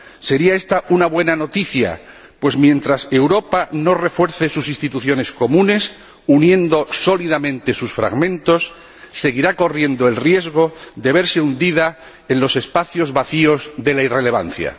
Sería esta una buena noticia, pues mientras Europa no refuerce sus instituciones comunes uniendo sólidamente sus fragmentos, seguirá corriendo el riesgo de verse hundida en los espacios vacíos de la irrelevancia.